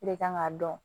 De kan k'a dɔn